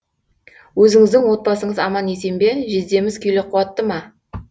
өзіңіздің отбасыңыз аман есен бе жездеміз күйлі қуатты ма